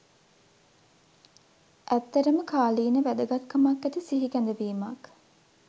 ඇත්තටම කාලීන වැදගත් කමක් ඇති සිහිකැඳවීමක්